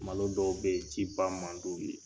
Malo dɔw bɛ ci ba man d'u ye.